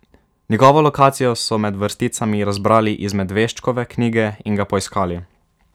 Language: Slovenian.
Njegovo lokacijo so med vrsticami razbrali iz Medveščkove knjige in ga poiskali.